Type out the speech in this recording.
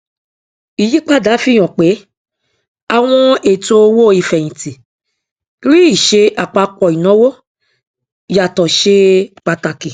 ìyípadà yìí fihàn pé àwọn ètò owó ìfẹyìntì rí ìṣe àpapọ ìnáwó yàtọ ṣe pàtàkì